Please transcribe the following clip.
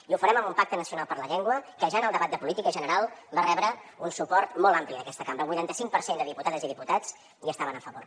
i ho farem amb un pacte nacional per la llengua que ja en el debat de política general va rebre un suport molt ampli d’aquesta cambra el vuitanta cinc per cent de diputades i diputats hi estaven a favor